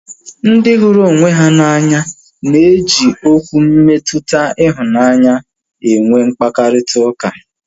Ndị hụrụ onwe ha n'anya na eji Okwu mmetụta ịhụnanya enwe mkparịta ụka